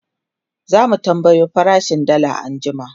zamu tambayo farashin dalla anjima